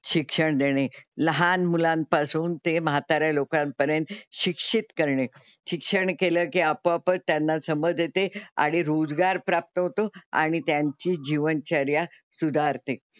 शिक्षण देणे, लहान मुलांपासून ते म्हाताऱ्या लोकांपर्यंत शिक्षित करणे, शिक्षण केलं की आपोआपच त्यांना समज येते आणि रोजगार प्राप्त होतो आणि त्यांची जीवनचर्या सुधारते.